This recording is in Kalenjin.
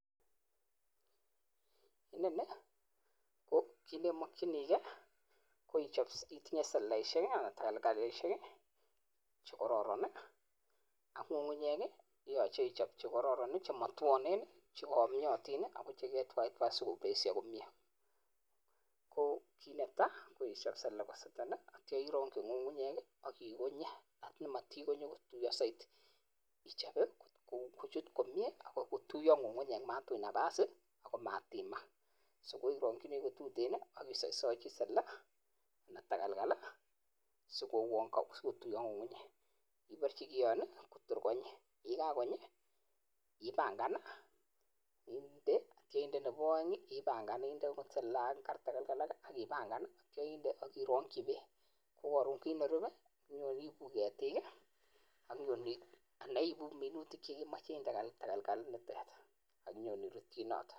Inoni ko kit nemakchinike koitinye seleleishek anan takalkalishek chekararan ak ngungunyek yach eichap chekararn chematwanen cheyamyatin ako cheketwatai sikopesha komnye, ko kit netaa koichap selele kosetenak atya irangchi ng'ung'unyek akikonye amatikonye kotiuyo zaidi ichape kuchut komnye akotiyo ng'ung'unyek matuch nafas akomatimak so irakchini kututen akisaschi selele anan takalkal siko uan katuiyo ng'ung'unyek , ibarchi kioin kotor konyi ye kakonyi ipangan inde atya inde, nebo aeng ipangan inde akipangan atya inde akiranchi bek ko karon kit nerupe iibu ketik anan ibu minutik chemche inde takalkal nitet akinyon irutchi inoto.